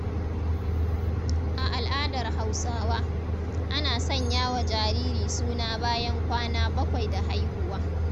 A al’adar Hausawa, ana sanya wa jariri suna bayan kwana bakwai da haihuwa.